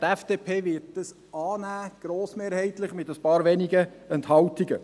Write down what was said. Die FDP wird dies grossmehrheitlich annehmen, mit ein paar wenigen Enthaltungen.